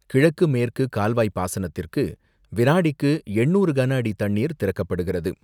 கிழக்கு மேற்கு கால்வாய் பாசனத்திற்கு வினாடிக்கு எண்ணூறு கனஅடி தண்ணீர் திறக்கப்படுகிறது.